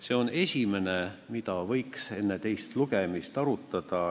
See on esimene asi, mida võiks enne teist lugemist arutada.